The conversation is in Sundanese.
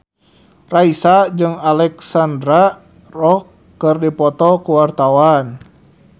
Raisa jeung Alexandra Roach keur dipoto ku wartawan